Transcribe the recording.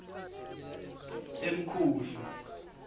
emkhuhlu